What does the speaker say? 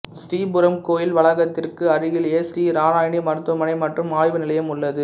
ஸ்ரீ புரம் கோயில் வளாகத்திற்கு அருகிலேயே ஸ்ரீ நாராயணி மருத்துவமனை மற்றும் ஆய்வு நிலையம் உள்ளது